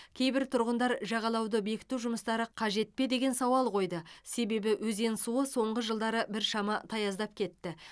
кейбір тұрғындар жағалауды бекіту жұмыстары қажет пе деген сауал қойды себебі өзен суы соңғы жылдары біршама таяздап кетті